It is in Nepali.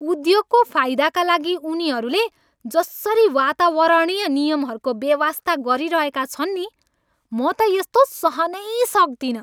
उद्योगको फाइदाका लागि उनीहरूले जसरी वातावरणीय नियमहरूको बेवास्ता गरिरहेका छन् नि, म त यस्तो सहनै सक्दिनँ।